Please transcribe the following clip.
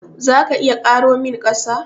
Za ka iya karo min ƙasa?